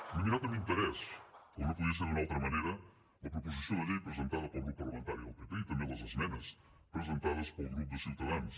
m’he mirat amb interès com no podia ser d’una altra manera la proposició de llei presentada pel grup parlamentari del pp i també les esmenes presentades pel grup de ciutadans